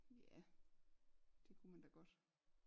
Ja det kunne man da godt